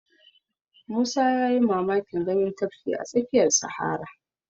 Musa ya yi mamakin ganin tafki a tsakiyar sahara